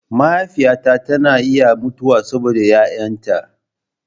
Mahaifiyata tana iya mutuwa saboda 'ya'yanta.